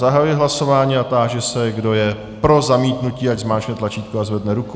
Zahajuji hlasování a táži se, kdo je pro zamítnutí, ať zmáčkne tlačítko a zvedne ruku.